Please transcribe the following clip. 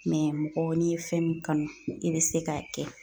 mɔgɔ n'i ye fɛn min kanu i bɛ se k'a kɛ.